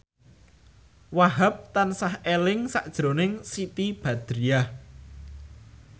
Wahhab tansah eling sakjroning Siti Badriah